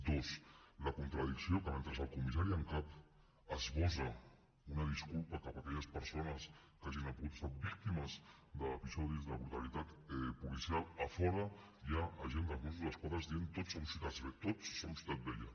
dos la contradicció que mentre el comissari en cap esbossa una disculpa cap a aquelles persones que hagin pogut ser víctimes d’episodis de brutalitat policial a fora hi ha agents dels mossos d’esquadra dient tots som ciutat vella